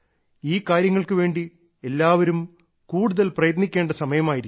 ഈ കാര്യങ്ങൾക്കുവേണ്ടി എല്ലാവരും കൂടുതൽ പ്രയത്നിക്കേണ്ട സമയമായിരിക്കുന്നു